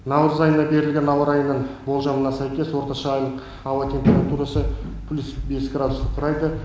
наурыз айына берілген ауа райының болжамына сәйкес орташа айлық ауа температурасы плюс бес градусты құрайды